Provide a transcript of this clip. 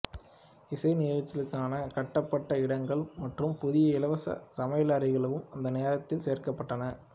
இசை நிகழ்ச்சிகளுக்கான கட்டப்பட்ட இடங்கள் மற்றும் புதிய இலவச சமையலறைகளும் அந்த நேரத்தில் சேர்க்கப்பட்டன